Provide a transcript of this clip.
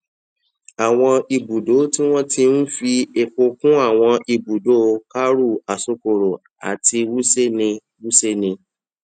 àwọn ibùdó tí wọn ti ń fi epo kún àwọn ibùdó karu asokoro àti wuse ní wuse ní